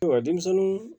Ayiwa denmisɛnninw